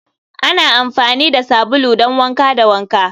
ana amfani da sabulu don wanka da wanka